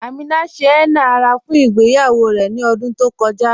Amina ṣẹ̀ henna ara fún ìgbèyawó rè ní ọ̀dún tó kọja.